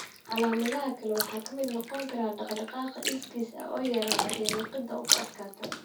Calaamadaha kale waxaa ka mid noqon kara dhaqdhaqaaqa iskiis ah oo yaraada iyo liqidda oo ku adkaata.